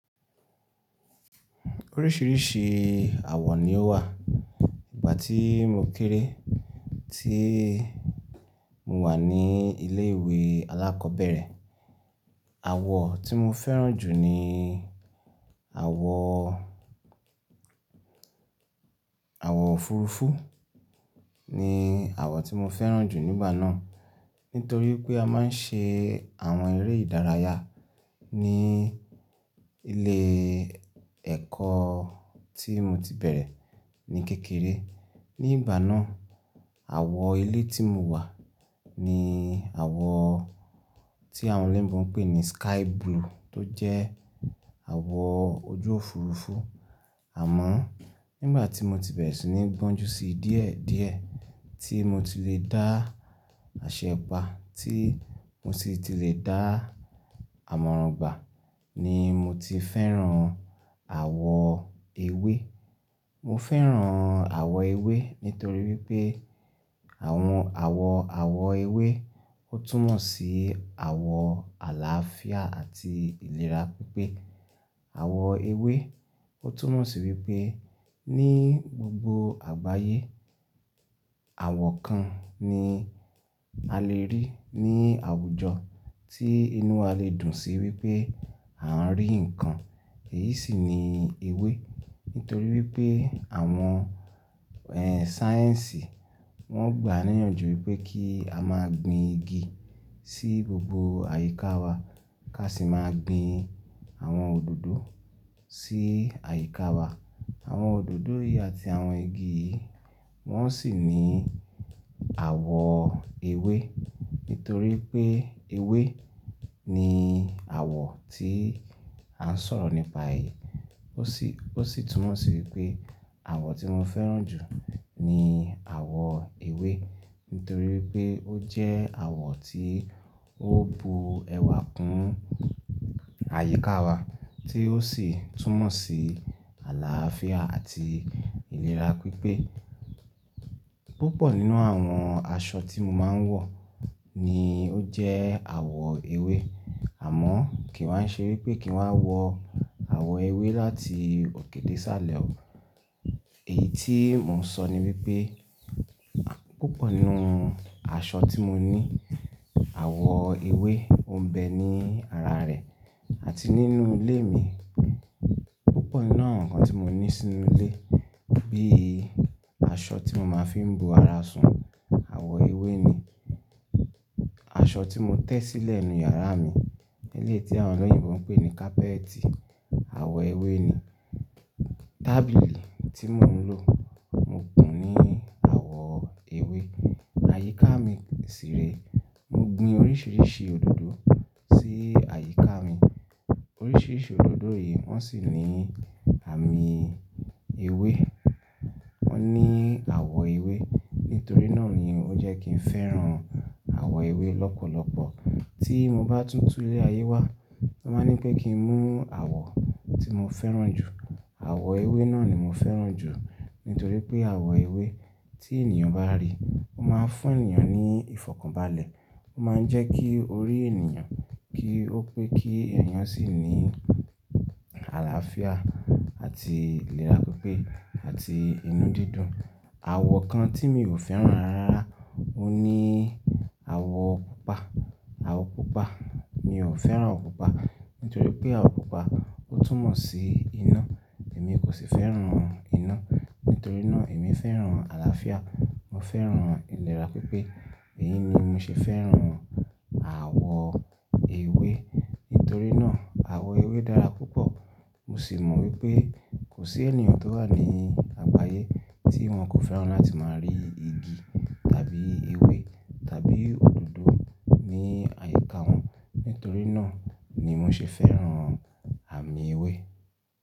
Oríṣìíríṣìí àwọ̀ ni ó wà. Ìgbà tí mo kéré, tí mo wà ní ilé ìwé alákọ̀ọ́bẹ̀rẹ̀, àwọ̀ tí mo fẹ́ràn jù ni àwọ̀, àwọ̀ òfurufú ni àwọ̀ tí mo fẹ́ràn jù nígbà náà. Nítorí pé a máa ń ṣe àwọn eré ìdárayá ní ilé ẹ̀kọ́ tí mo ti bẹ̀rẹ̀ ní kékeré. Ni ìgbà náà, àwọ̀ ilé tí mo wà ni àwọ̀ tí àwọn elebo ń pè ní sky blue tó jẹ́ àwọ̀ ojú òfurufú. Àmọ́ nígbà tí mo ti bẹ̀rẹ̀ sí ní gbọ́njú sí i díẹ̀ díẹ̀, tí mo ti lè dá asepa, tí mo ti lè dá àmọ̀ràngbà ni mo ti fẹ́ràn àwọ̀ ewé. Mo fẹ́ràn àwọ̀ ewé nítorí wípé àwọn àwọ̀, àwọ̀ ewé ó túnmọ̀ sí àwọ̀ àlàáfíà àti ìlera pípé. Àwọ̀ ewé ó túnmọ̀ sí wípé ní gbogbo àgbáyé, àwọ̀ kan ni a lè rí ní àwùjọ tí inú wa lè dùn sí wípé a ń rí nǹkan. Èyí sì ni ewé. Nítorí wípé àwọn, ẹ́ẹ́ sáyẹ́ǹsì wọ́n gbà níyànjú wípé kí a máa gbin igi sí gbogbo àyíká wa ká sì máa gbin àwọn òdòdó sí àyíká wa. Àwọn òdòdó yìí àti àwọn igi yii wọ́n sì ní àwọ̀ ewé. Nítorí pé ewé ni àwọ̀ tí à ń sọ̀rọ̀ nípa è Ó sì, ó sì túnmọ̀ sí wípé àwọ̀ tí mo fẹ́ràn jù ni àwọ̀ ewé. Nítorí pé ó jẹ́ àwọ̀ tí ó bu ẹwà kún àyíká wa tí ó sì túnmọ̀ sí àlàáfíà àti ìlera pípé. Púpọ̀ nínú àwọn aṣọ tí mo máa ń wọ̀ ni ó jẹ́ àwọ̀ ewé. Àmọ́ kiì wa ṣe wípé kì n wá wọ àwọ̀ ewé láti òkè dé isálẹ̀ o. Èyí tí mò ń sọ ni wípé púpọ̀ nínú aṣọ tí mo ní, àwọ̀ ewé o ń bẹ ní ara rẹ̀ àti nínú ilé mi. Púpọ̀ nínú àwọn nǹkan tí mo ní sínú ilé bíi aṣọ tí mo máa ń fi ń bo ara sun, àwọ̀ ewé ni. Aṣọ tí mo tẹ́ sílẹ̀ nínú yàrá mi, eleyii tí àwọn eleyìnbo ń pè ní kápẹ́ẹ̀tì, àwọ̀ ewé ni. Tábìlì tí mò ń lò, mo kùn ún ní àwọ̀ ewé. Àyíká mi sì rẹ, mo gbin oríṣìíríṣìí òdòdó sí àyíká mi. Oríṣìíríṣìí òdòdó yìí wọ́n sì ní àmì ewé. Wọ́n ní àwọ̀ ewé. Nítorí náà ni ó jẹ́ kí n fẹ́ràn àwọ̀ ewé lọ́pọ̀lọpọ̀. Tí mo bá tún tún ilé ayé wá, ti wọn bá ní pé kí n mú àwọ̀ tí mo fẹ́ràn jù. Àwọ̀ ewé náà ni mo fẹ́ràn jù nítorí pé àwọ̀ ewé tí ènìyàn bá rí, ó máa ń fún ènìyàn ní ìfọ̀kànbalẹ̀. O máa ń jẹ́ kí orí ènìyàn kí ó pé kí ènìyàn sì ní àlàáfíà àti ìlera pípé àti inú dídùn. Àwọ̀ kan tí mi ò fẹ́ràn rara rárá óhun ní àwọ̀ pupa. Àwọ̀ pupa, mi ò fẹ́ràn àwọ̀ pupa. Nítorí pé àwọ̀ pupa ó túnmọ̀ sí iná. Èmi kò sì fẹ́ràn iná. Nítorí náà èmi fẹ́ràn àlàáfíà. Mo fẹ́ràn ìlera pípé. Èyí ni mo ṣe fẹ́ràn àwọ̀ ewé. Nítorí náà àwọ̀ ewé dára púpọ̀. Mo sì mọ̀ wípé kò sí ènìyàn tó wà ní àgbáyé tí wọn kò fẹ́ràn láti máa rí igi tàbí ewé tàbí òdòdó ní àyíká wọn. Nítorí náà ni mo ṣe fẹ́ràn àmìn ewé.